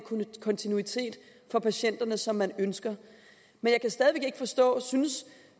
kontinuitet for patienterne som man ønsker men jeg kan stadig væk ikke forstå synes